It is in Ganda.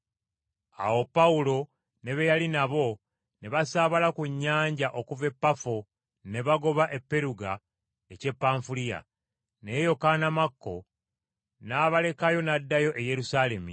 Awo Pawulo ne be yali nabo ne basaabala ku nnyanja okuva e Pafo ne bagoba e Peruga eky’e Panfuliya. Naye Yokaana Makko n’abalekayo n’addayo e Yerusaalemi.